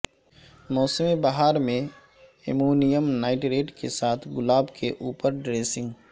موسم بہار میں امونیم نائٹریٹ کے ساتھ گلاب کے اوپر ڈریسنگ